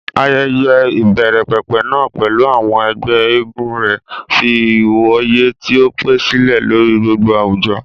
Ayẹyẹ ìbẹ̀rẹ̀pẹ̀pẹ̀ náà, pẹ̀lú àwọn ẹgbẹ́ eégún rẹ̀, fi ìwòye tí ó pẹ́ sílẹ̀ lórí gbogbo àwùjọ.